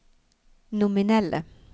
nominelle